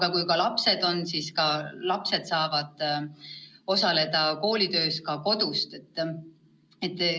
Ja kui lapsed peavad kodus olema, siis saavad nad koolitöös ka kodus osaleda.